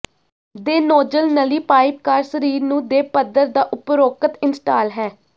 ਦੇਨੌਜ਼ਲ ਨਲੀ pipe car ਸਰੀਰ ਨੂੰ ਦੇ ਪੱਧਰ ਦਾ ਉਪਰੋਕਤ ਇੰਸਟਾਲ ਹੈ